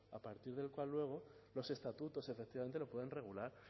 a partir del cual luego los estatutos efectivamente lo pueden regular